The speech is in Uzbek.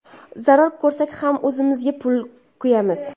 Zarar ko‘rsak ham o‘zimizning pulga kuyamiz.